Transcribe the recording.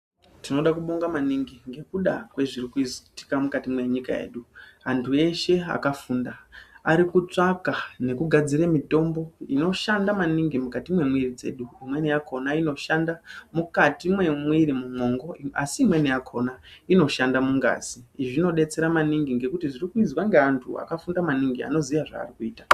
Tinoda kubonga maningi ngekuda kwezvirikuitika mukati mwenyika yedu, antu eshe akafunda ari kutsvaka nekugadzire mitombo inoshanda maningi mukati mwemwiri dzedu. Imweni yakhona inoshanda mukati mwemwiri mumwongo asi imweni yakhona inoshanda mungazi. Izvi zvinodetsera maningi ngekuti zvirikuizwa ngeantu akafunda maningi anoziya zvaari kuita.